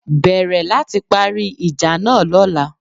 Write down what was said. Bẹ̀rẹ̀ láti parí ìjà náà Lọ́la